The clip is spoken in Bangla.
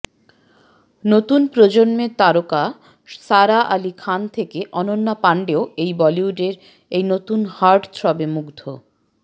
নতুন প্রজন্মের তারকা সারা আলি খান থেকে অনন্যা পাণ্ডেও এই বলিউডের এই নতুন হার্টথ্রবে মুগ্ধ